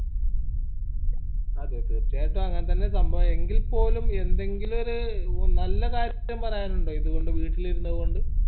അതെ തീർച്ചയായിട്ടും അങ്ങനെ തന്നെ സംഭവം എങ്കിൽപ്പോലും എന്തെങ്കിലും ഒരു നല്ല കാര്യം പറയാനുണ്ടോ ഇതുകൊണ്ട് വീട്ടിലിരുന്നതു കൊണ്ട്